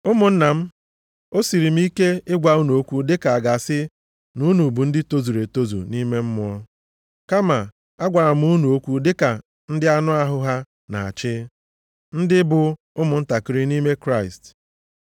Ụmụnna m, o siiri m ike ịgwa unu okwu dịka a ga-asị na unu bụ ndị tozuru etozu nʼime Mmụọ, kama agwara m unu okwu dịka ndị anụ ahụ ha na-achị, ndị bụ ụmụntakịrị nʼime Kraịst.